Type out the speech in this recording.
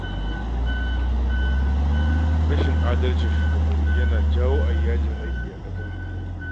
Rashin adalcin shugabanni yana jawo a yi yajin aiki a ƙasar nan